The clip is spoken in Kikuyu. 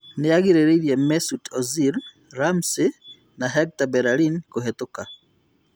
Nĩagirĩrĩirie Mesut Ozil, Ramnsey na Hector Bellerin kũhetũka